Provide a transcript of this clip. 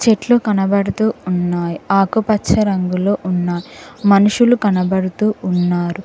చెట్లు కనబడుతూ ఉన్నాయి ఆకుపచ్చ రంగులో ఉన్నాయి మనుషులు కనబడుతూ ఉన్నారు.